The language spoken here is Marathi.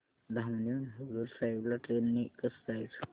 धामणी हून हुजूर साहेब ला ट्रेन ने कसं जायचं